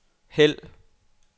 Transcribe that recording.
hæld